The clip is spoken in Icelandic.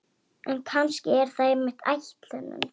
En kannski er það einmitt ætlunin.